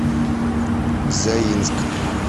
заинск